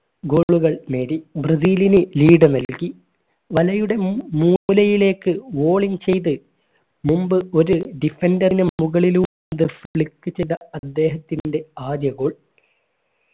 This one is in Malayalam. goal കൾ നേടി ബ്രസീലിന് lead നൽകി വലയുടെ മൂ മൂക്കുലയിലേക്ക് വോളിയം ചെയ്ത് മുമ്പ് ഒരു defender റിനും മുകളിലൂടെ flip ചെയ്ത അദ്ദേഹത്തിൻറെ ആദ്യ goal